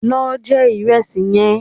Lo je ìrẹsì yẹn